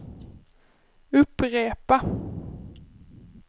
upprepa